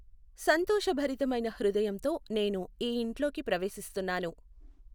సంతోషభరితమైన హృదయంతో నేను ఈ ఇంట్లోకి ప్రవేశిస్తున్నాను.